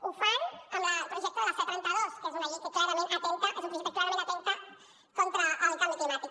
ho fan amb el projecte de la c trenta dos que és una llei és un projecte que clarament atempta contra el canvi climàtic